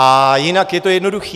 A jinak je to jednoduché.